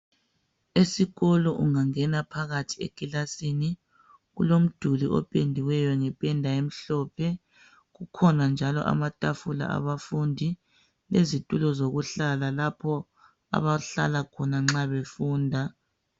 esikolo ungangena phakathi ekilasin kulemduli ophendiweyo ngephenda emhlophe kukhona njalo amatafula abafundi lezitulo lapho abahlala khona nxa befunda